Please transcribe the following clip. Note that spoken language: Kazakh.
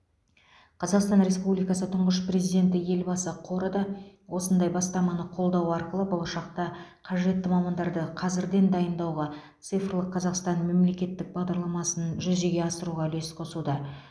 қазақстан республикасы тұңғыш президенті елбасы қоры да осындай бастаманы қолдау арқылы болашақта қажетті мамандарды қазірден дайындауға цифрлық қазақстан мемлекеттік бағдарламасын жүзеге асыруға үлес қосуда